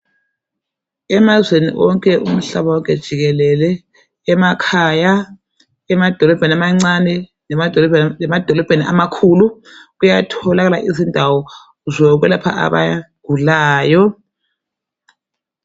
Emazweni onke umhlaba wonke jikelele emakhaya, emadolobheni amancane lemadolobheni amakhulu kuyatholakala izindawo zokwelapha abagulayo.